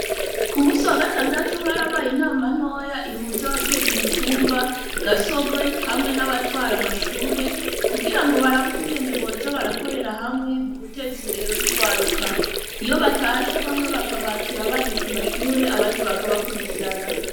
K'umusi wagatandatu harabzye inama ntoya ihuza abajejw'umutumba gasorwe ,hamwe n'abatwara amashure, kugira barabe ukungene boza barakorera hamwe muteza imbere urwaruka, iyo batashe bamwe bakabakira baje ku mashure abandi bakabakurikirana.